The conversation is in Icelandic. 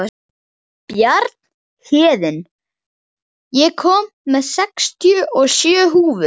Bjarnhéðinn, ég kom með sextíu og sjö húfur!